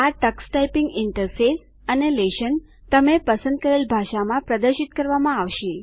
આ Tux typing interface અને lesson તમે પસંદ કરેલ ભાષામાં પ્રદર્શિત કરવામાં આવશે